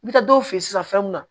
N bɛ taa dɔw fɛ yen sisan fɛn mun na